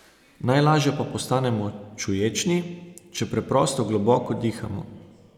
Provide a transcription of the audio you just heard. Najlaže pa postanemo čuječni, če preprosto globoko dihamo.